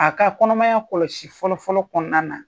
A ka kɔnɔmaya kɔlɔsi fɔlɔfɔlɔ kɔnɔna na